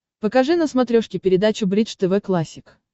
покажи на смотрешке передачу бридж тв классик